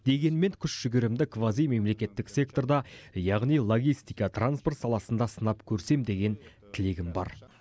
дегенмен күш жігерімді квазимемлекеттік секторда яғни логистика транспорт саласында сынап көрсем деген тілегім бар